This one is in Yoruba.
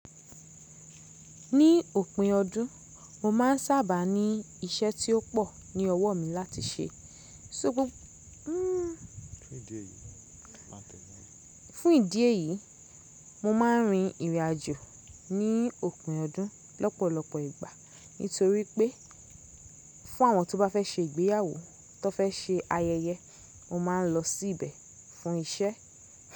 Ní òpin ọdún, mo máa ń sábà ní iṣẹ́ tí ó pọ̀ ní ọwọ́ mi láti ṣe. Fún ìdí èyí, mo máa ń rin ìrìn àjò ní òpin ọdún lọ́pọ̀lọpọ̀ ìgbà. Nítorí pé, fún àwọn tó bá fẹ́ ṣe ìgbéyàwó, tó fẹ́ ṣe ayẹyẹ, mo máa ń lọ sí ibẹ̀ fún iṣẹ́.